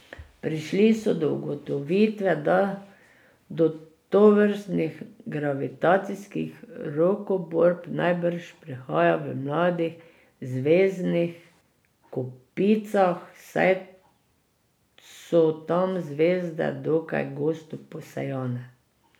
Prišli so do ugotovitve, da do tovrstnih gravitacijskih rokoborb najbrž prihaja v mladih zvezdnih kopicah, saj so tam zvezde dokaj gosto posejane.